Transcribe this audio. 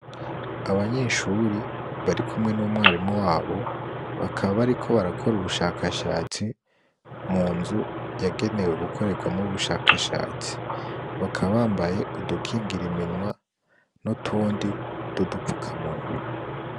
Abanyeshuri barikumwe n'umwarimu wabo bakaba bariko barakora ubushakashatsi munzu yagenewe gukoregwamwo ubushakashatsi bakaba bambaye udukingira iminwa nutundi twudufukamunwa.